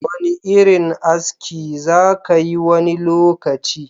Wani irin aski za kayi wani lokaci?